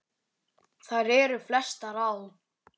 Þær eru flestar á